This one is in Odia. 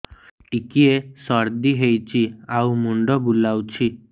ଟିକିଏ ସର୍ଦ୍ଦି ହେଇଚି ଆଉ ମୁଣ୍ଡ ବୁଲାଉଛି